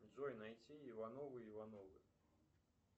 джой найти ивановы ивановы